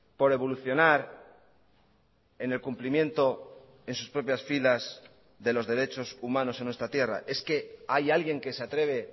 por evolucionar en el cumplimiento en sus propias filas de los derechos humanos en nuestra tierra es que hay alguien que se atreve